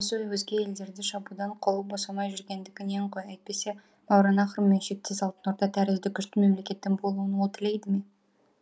өзге елдерді шабудан қолы босамай жүргендігінен ғой әйтпесе мауараннахр мен шектес алтын орда тәрізді күшті мемлекеттің болуын ол тілейді ме